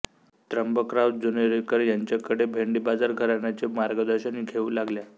त्र्यंबकराव जानोरीकर यांच्याकडे भेंडीबाजार घराण्याचे मार्गदर्शन घेऊ लागल्या